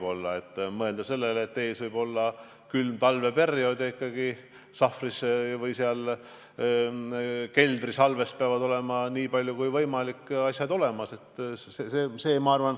Tuleb mõelda ka sellele, et ees võib olla külm talveperiood ja sahvris või keldrisalves peavad olema, nii palju kui võimalik, vajalikud asjad olemas.